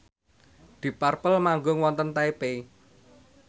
deep purple manggung wonten Taipei